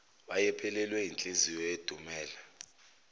wayephelelwe yinhliziyo edumele